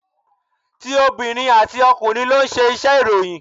Ti obìnrin àti ọkùnrin ló ń ṣe iṣẹ́ ìròyìn.